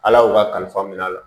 Ala y'u ka kalifa minɛ a la